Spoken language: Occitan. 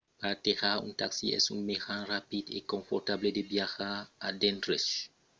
partejar un taxi es un mejan rapid e confortable de viatjar a d'endreches pròches coma paro nu 150 e punakha nu 200